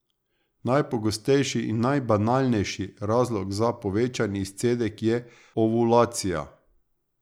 Najpogostejši in najbanalnejši razlog za povečan izcedek je ovulacija.